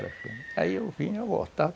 Aí eu vinha e voltava.